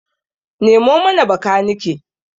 Nemo mana bakanike!